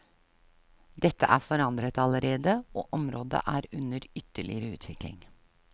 Dette er forandret allerede, og området er under ytterligere utvikling.